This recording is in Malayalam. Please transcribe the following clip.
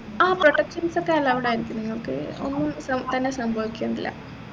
ആഹ് protections ഒക്കെ allowed ആയിരിക്കും നിങ്ങൾക്ക് ഒന്നും തന്നെ സംഭവിക്കില്ല